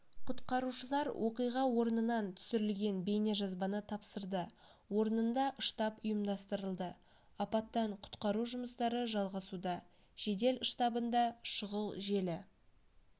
құтқарушылар оқиға орнынан түсірілген бейнежазбаны тапсырды орнында штаб ұйымдастырылды апаттан-құтқару жұмыстары жалғасуда жедел штабында шұғыл желі